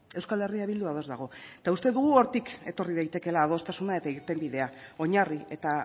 euskal herria bildu ados dago eta uste dugu hortik etorri daitekeela adostasuna eta irtenbidea oinarri eta